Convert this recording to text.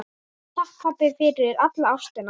Takk, pabbi, fyrir alla ástina.